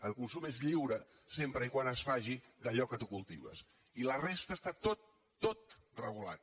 el consum és lliure sempre que es faci d’allò que tu cultives i la resta està tot tot regulat